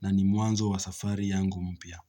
na nimwanzo wa safari yangu mpya.